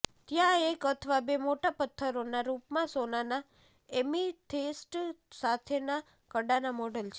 ત્યાં એક અથવા બે મોટા પથ્થરોના રૂપમાં સોનાના એમિથિસ્ટ સાથેના કડાના મોડલ છે